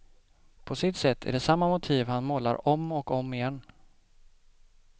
På sitt sätt är det samma motiv han målar om och om igen.